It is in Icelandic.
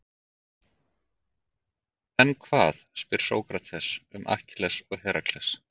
En hvað, spyr Sókrates, um Akkilles og Herakles?